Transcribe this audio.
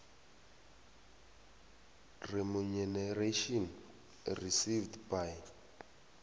remuneration received by